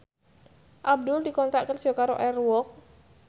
Abdul dikontrak kerja karo Air Walk